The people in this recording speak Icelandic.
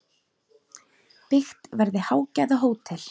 Byggt verði hágæða hótel.